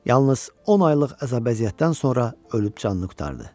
Yalnız on aylıq əzab-əziyyətdən sonra ölüb canını qurtardı.